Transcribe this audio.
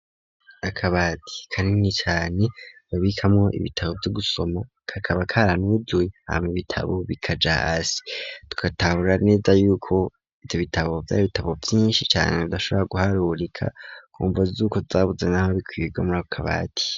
Akabati kanini cane babikamwo ibitabo vyo gusoma kakaba karanazuye hama ibitabo bikaja hasi tugatahura neza yuko ivyo bitabo vyari bitabo vyishi cane tudashobora guharurika kumvo zuko tutabuze naho bikwiga murako kabati.